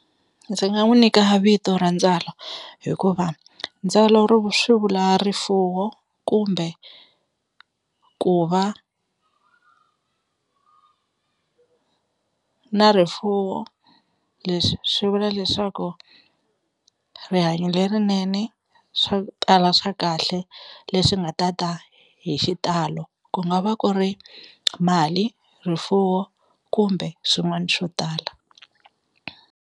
Ndzi nga n'wi nyika vito ra Ndzalo hikuva Ndzalo swi vula rifuwo kumbe ku va ku na rifuwo, leswi swi vula leswaku rihanyo lerinene swa ku tala swa kahle leswi nga ta ta hi xitalo ku nga va ku ri mali rifuwo kumbe swin'wani swo tala.